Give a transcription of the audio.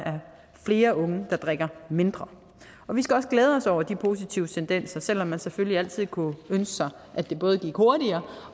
flere unge der drikker mindre vi skal også glæde os over de positive tendenser selv om man selvfølgelig altid kunne ønske sig at det både gik hurtigere